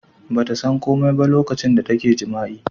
ba ta san komai ba lokacin da take jami'a